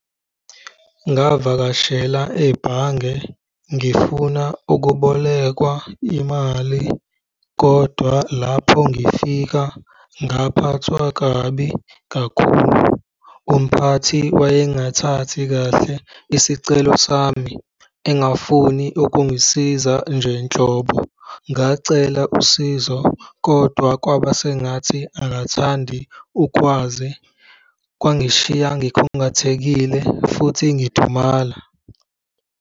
Ngavakashela ebhange ngifuna ukubolekwa imali kodwa lapho ngifika, ngaphathwa kabi kakhulu. Umphathi wayengathathi kahle isicelo sami engafuni ukungisiza nje nhlobo. Ngacela usizo kodwa kwaba sengathi akathandi ukwazi. Kwangishiya ngikhungathekile futhi ngidumala.